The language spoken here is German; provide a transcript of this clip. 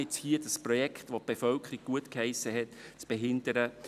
Deswegen das von der Bevölkerung gutgeheissene Projekt zu behindern?